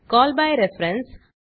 call by reference